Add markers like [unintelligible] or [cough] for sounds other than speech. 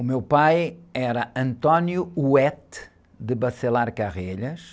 O meu pai era. [unintelligible]